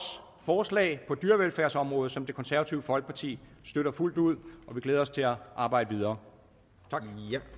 forslag på dyrevelfærdsområdet som det konservative folkepartis støtter fuldt ud og vi glæder os til at arbejde videre